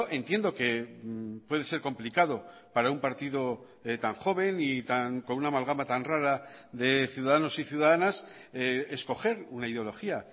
entiendo que puede ser complicado para un partido tan joven y con una amalgama tan rara de ciudadanos y ciudadanas escoger una ideología